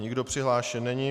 Nikdo přihlášen není.